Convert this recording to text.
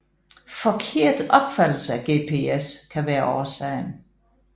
Forkert opfattelse af GPS kan være årsagen